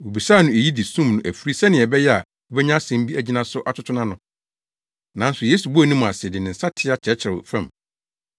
Wobisaa no eyi de sum no afiri sɛnea ɛbɛyɛ a wobenya asɛm bi agyina so atoto nʼano. Nanso Yesu bɔɔ ne mu ase de ne nsateaa kyerɛkyerɛw fam.